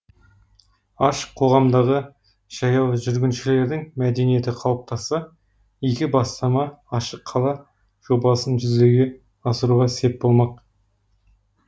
ашық қоғамдағы жаяу жүргіншілердің мәдениеті қалыптасса игі бастама ашық қала жобасын жүзеге асыруға сеп болмақ